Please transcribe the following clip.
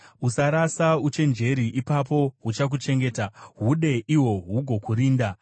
Usarasa uchenjeri, ipapo huchakuchengeta; hude, ihwo hugokurinda.